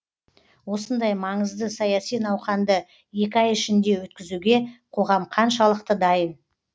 осындай маңызды саяси науқанды екі ай ішінде өткізуге қоғам қаншалықты дайын